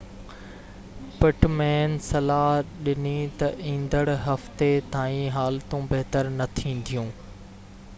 پٽ مين صلاح ڏني تہ ايندڙ هفتي تائين حالتون بهتر نہ ٿينديون